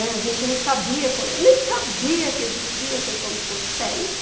a gente não sabia, nem sabia que existia a questão dos coquetéis.